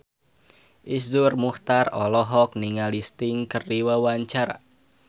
Iszur Muchtar olohok ningali Sting keur diwawancara